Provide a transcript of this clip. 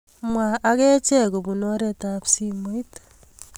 Mwa ak achek kopun oretab simoit